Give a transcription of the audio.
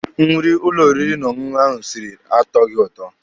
Nri ụlọ oriri na ọṅụṅụ ahụ siri atọghị ụtọ.